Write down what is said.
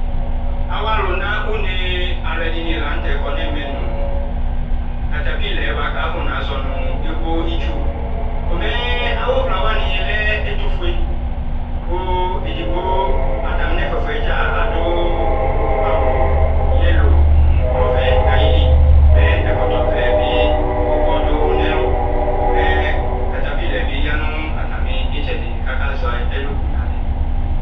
awʋalʋna ʋnee alʋɛdini la nʋtɛ kɔ nɛmɛnʋ NA ka ƒɔna zɔnʋ ebo itsʋ komɛ awʋvla wanilɛ ɛtʋvʋe kʋ atamiɛ ƒʋa ƒʋadza adʋ awʋ NA nʋ ɔvɛ nayili kakɔ ɛkɔtɔ ɔvɛ mɛ NA bi yanʋ itsɛdi kaka zɛ ɛlʋbʋ walɛ